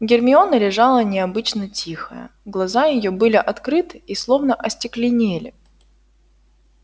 гермиона лежала необычно тихая глаза её были открыты и словно остекленели